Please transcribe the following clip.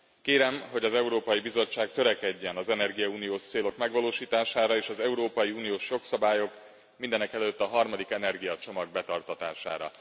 Kérem, hogy az Európai Bizottság törekedjen az energiauniós célok megvalósítására és az európai uniós jogszabályok, mindenekelőtt a harmadik energiacsomag betartatására.